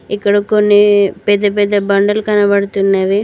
ఇక్కడ కొన్ని పెద్ద పెద్ద బండలు కనబడుతున్నవి.